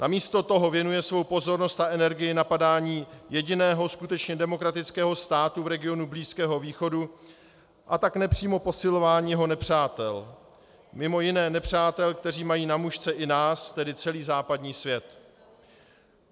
Namísto toho věnuje svou pozornost a energii napadání jediného skutečně demokratického státu v regionu Blízkého východu, a tak nepřímo posilování jeho nepřátel, mimo jiné nepřátel, kteří mají na mušce i nás, tedy celý západní svět.